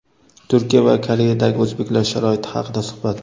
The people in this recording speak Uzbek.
Turkiya va Koreyadagi o‘zbeklar sharoiti haqida suhbat.